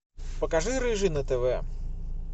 покажи рыжий на тв